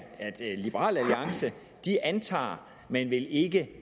at liberal alliance antager men vil ikke